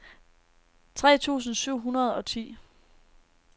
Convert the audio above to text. tre tusind syv hundrede og ti